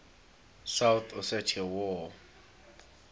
south ossetia war